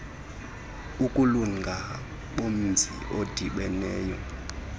ukulunga bomzi odibeneyo